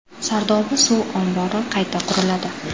Sardoba suv ombori qayta quriladi.